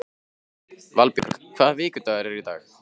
Valbjörn, hvaða vikudagur er í dag?